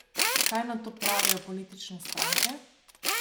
Kaj na to pravijo politične stranke?